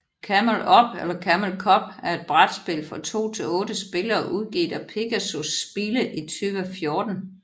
Camel Up eller Camel Cup er et brætspil for to til otte spillere udgivet af Pegasus Spiele i 2014